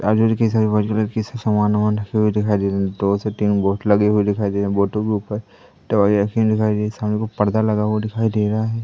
आजु-बाजू white colour के सामान वमान रखे हुए दिखाई दे रहे दो से तीन बोर्ड लगे हुए दिखाई दे रहे है बोर्ड के ऊपर दवाई रखी हुई दिखाई दे रही सामने को पर्दा लगा हुआ दिखाई दे रहा है।